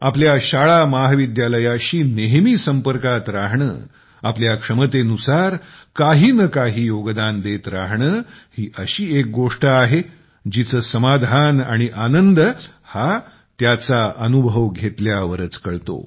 आपल्या शाळा महाविद्यालयाशी नेहमी संपर्कात राहणे आपल्या क्षमतेनुसार काही न काही योगदान देत राहणे ही एक अशी गोष्ट आहे जिचे समाधान आणि आनंद हा त्याचा अनुभव घेतल्यावरच कळतो